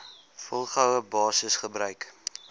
volgehoue basis gebruik